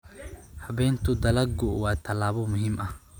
Habaynta dalaggu waa tallaabo muhiim ah.